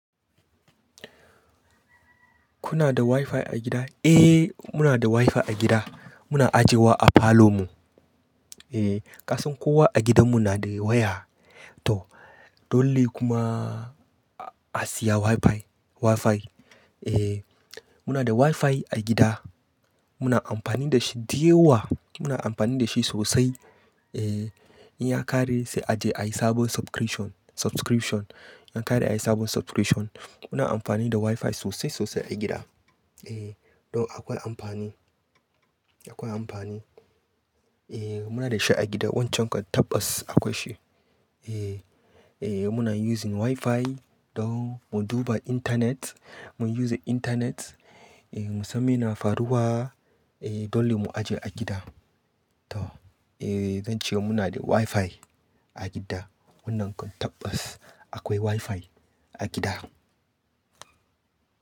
Kuna da Wi-Fi a gida? Eh, muna da Wi-Fi a gida. Muna ajiyewa a falo mu. Eh, kasan kowa a gidan mu na da waya. To, dole kuma a siya Wi-Fi, Wi-Fi. Eh, muna da Wi-Fi a gida. Muna amfani da shi da yawa. Muna amfani da shi sosai. Eh, in ya ƙare sai a je ayi sabon subscription, subscription. In ya ƙare ayi sabon subscription. Muna amfani da Wi-Fi sosai sosai a gida. Eh, don akwai amfani, akwai amfani. Eh, muna da shi a gida wancan kan tabbas akwai shi. Eh, eh muna using Wi-Fi don mu duba internet, mun use internet. Eh, musamman yana faruwa, eh dole mu ajiye a gida. To, eh zan ce muna da Wi-Fi a gida. Wannan kan tabbas akwai Wi-Fi a gida.